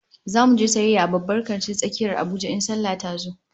Zamu je sayayya a babban kantin tsakiyar Abuja in sallah tazo